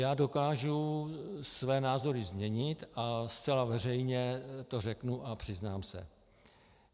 Já dokážu své názory změnit a zcela veřejně to řeknu a přiznám se.